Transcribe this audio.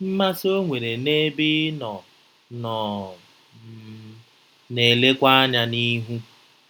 Mmasị o nwere n'ebe ị nọ nọ um na-elekwa anya n'ihu.